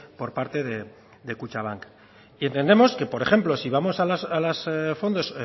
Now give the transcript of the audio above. por parte de kutxabank y entendemos que por ejemplo sí vamos a los fondos